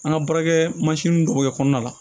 An ka baarakɛ mansin dɔ bɛ kɔnɔna la